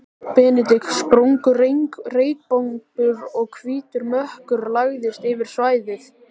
Benedikt, sprungu reykbombur og hvítur mökkur lagðist yfir svæðið.